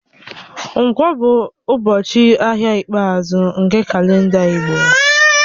Nkwọ̀ bụ ụbọchị ahịa ikpeazụ nke kalenda Igbo